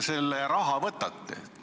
Kust te selle raha võtate?